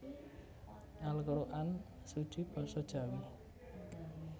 Al Quran Suci Basa Jawi